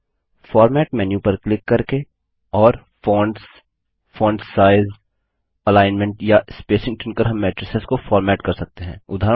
अब format menu पर click करके और फोंट्स फोंट साइज एलिग्नमेंट या स्पेसिंग चुनकर हम मैट्रिसेस को फॉर्मेट कर सकते हैं